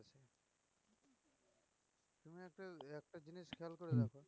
হম